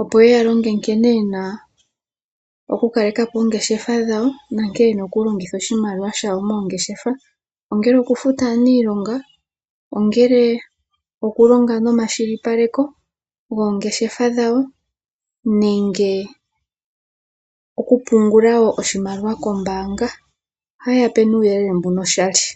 opo ye yalonge nkene yenaoku kalekapo oongeshefa dhawo nonkene yena oku longitha oshimaliwa shawo mongeshefa, ongele oku futa aanilonga